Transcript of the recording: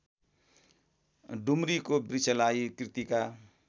डुम्रीको वृक्षलाई कृतिका